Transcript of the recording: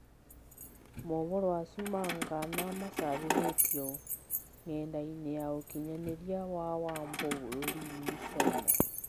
Mohoro mau ma Ngana macabithĩthirio ng'endainĩ ya ũkinyanĩria wa Wambo bũrũriinĩ Caina.